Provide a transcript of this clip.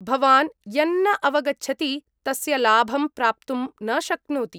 भवान् यन्न अवगच्छति तस्य लाभं प्राप्तुं न शक्नोति।